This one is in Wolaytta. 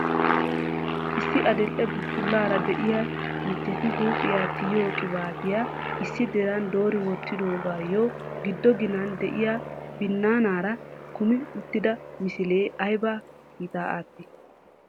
issi adil''e buttulaara de'iyaa michcheti huuphiyaa tiyiyyo qibatiya issi diran doori wottidoogayyo giddo ginani de'iyaa binaanara kummi uttida misiliee aybba kiitta aattii?